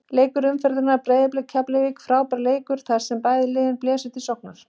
Leikur umferðarinnar Breiðablik- Keflavík Frábær leikur þar sem bæði lið blésu til sóknar.